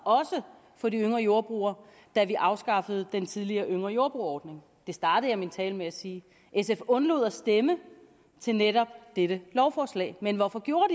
for de yngre jordbrugere da vi afskaffede den tidligere yngre jordbrugere ordning det startede jeg min tale med at sige sf undlod at stemme til netop det lovforslag men hvorfor gjorde